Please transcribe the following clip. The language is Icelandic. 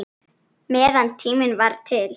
Meðan tími var til.